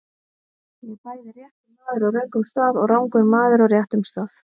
Ég er bæði réttur maður á röngum stað og rangur maður á réttum stað.